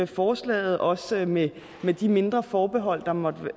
forslaget også med med de mindre forbehold der måtte